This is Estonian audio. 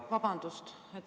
Vabandust!